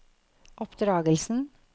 oppdragelsen